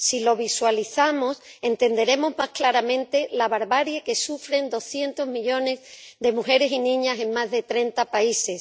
Si lo visualizamos, entenderemos más claramente la barbarie que sufren doscientos millones de mujeres y niñas en más de treinta países.